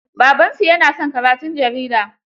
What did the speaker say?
Babansu ya na son karatun jarida.